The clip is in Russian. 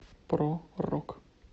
про рок